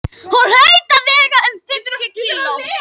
Hún hlaut að vega um fimmtíu kíló.